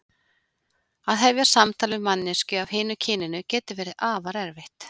Að hefja samtal við manneskju af hinu kyninu getur verið afar erfitt.